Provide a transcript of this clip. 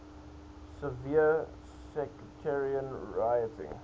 severe sectarian rioting